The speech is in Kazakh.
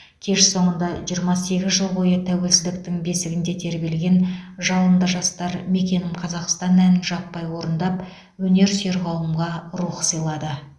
кеш соңында жиырма сегіз жыл бойы тәуелсіздіктің бесігінде тербелген жалынды жастар мекенім қазақстан әнін жаппай орындап өнерсүйер қауымға рух сыйлады